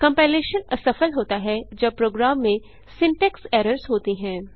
compilation असफल होता है जब प्रोग्राम में सिंटैक्स एरर्स होती हैं